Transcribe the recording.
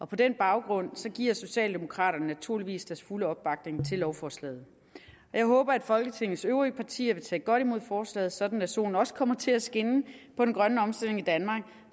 på den baggrund giver socialdemokraterne naturligvis deres fulde opbakning til lovforslaget jeg håber at folketingets øvrige partier vil tage godt imod forslaget sådan at solen også kommer til at skinne på den grønne omstilling i danmark